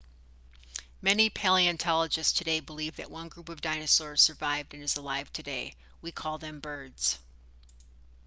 many paleontologists today believe that one group of dinosaurs survived and is alive today we call them birds